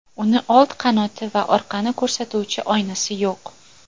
Uning old qanoti va orqani ko‘rsatuvchi oynasi yo‘q.